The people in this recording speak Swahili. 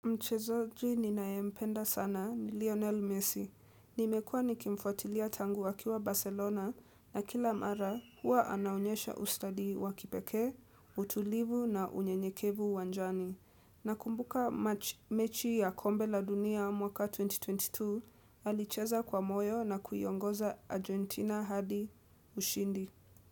Mchezaji ninayempenda sana ni Lionel Messi. Nimekuwa nikimfuatilia tangu akiwa Barcelona na kila mara huwa anaonyesha ustadi wa kipekee, utulivu na unyenyekevu uwanjani. Nakumbuka mechi ya kombe la dunia mwaka 2022 alicheza kwa moyo na kuiongoza Argentina hadi ushindi.